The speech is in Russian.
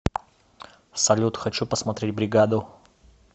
салют хочу посмотреть бригаду